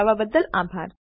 જોડાવા બદલ આભાર